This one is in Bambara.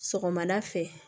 Sɔgɔmada fɛ